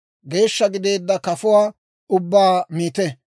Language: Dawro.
«Geeshsha gideedda kafuwaa ubbaa miite;